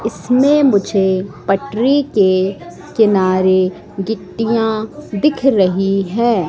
इसमें मुझे पटरी के किनारे गिट्टियां दिख रही है।